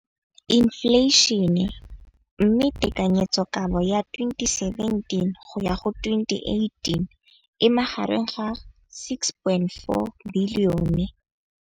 Infleišene, mme tekanyetsokabo ya 2017, 18, e magareng ga R6.4 bilione.